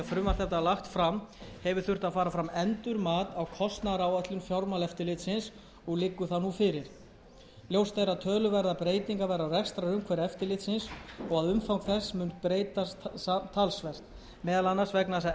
þetta var lagt fram hefur þurft að fara fram endurmat á kostnaðaráætlun fjármálaeftirlitsins og liggur það nú fyrir ljóst er að töluverðar breytingar verða á rekstrarumhverfi eftirlitsins og að umfang þess mun breytast talsvert meðal annars vegna þess að erlend starfsemi íslenskra